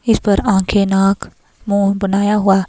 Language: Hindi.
इस पर आंखें नाक मुंह बनाया हुआ--